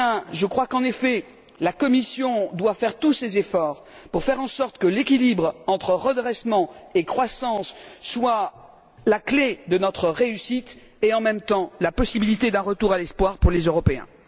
Je crois, en effet, que la Commission doit déployer tous les efforts pour faire en sorte que l'équilibre entre redressement et croissance soit la clé de notre réussite et, en même temps, la possibilité d'un retour à l'espoir pour les Européens.